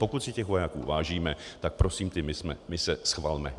Pokud si těch vojáků vážíme, tak prosím ty mise schvalme.